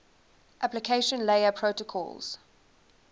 application layer protocols